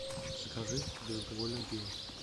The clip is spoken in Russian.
закажи безалкогольное пиво